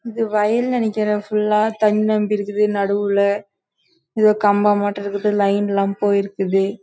இது வயல் லே நிக்குற ஏதோ கம்பம் மட்டும் இருக்குது போயிருக்குது